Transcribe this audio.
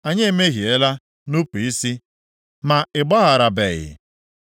“Anyị emehiela, nupu isi, ma ị gbagharabeghị.